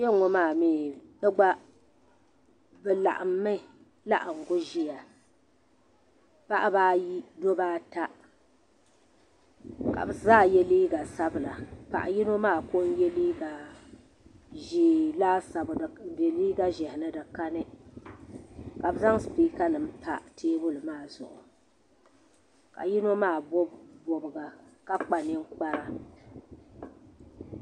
Kpenŋɔ maa mɛɛ bɛ gba bɛ laɣim mi laɣingu ʒia paɣaba ayi dabba ata ka bɛ zaa ye liiga sabla paɣa yino maa ko n ye liiga ʒee laasabu di be liiga ʒehi ni di ka ni ka bɛ zaŋ sipiika nima pa teebuli maa zuɣu ka yino maa bobi bobga ka kpa ninkpara.